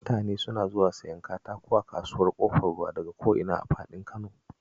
Mutane suna zuwa siyan katako a Kasuwar Ƙofar Ruwa daka ko ina a faɗin Kano